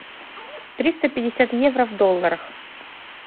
триста пятьдесят евро в долларах